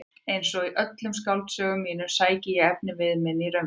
Einsog í öllum skáldsögum mínum sæki ég efnivið minn í raunveruleikann.